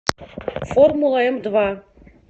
формула эмдва